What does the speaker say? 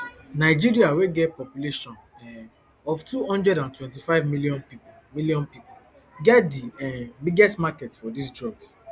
nigeria wey get population um of two hundred and twenty-five million pipo million pipo get di um biggest market for dis drugs